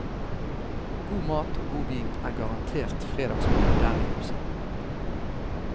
God mat og god vin er garantert fredagsmeny der i huset.